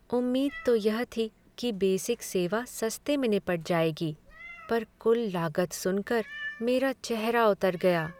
उम्मीद तो यह थी कि बेसिक सेवा सस्ते में निपट जाएगी पर कुल लागत सुनकर मेरा चेहरा उतर गया।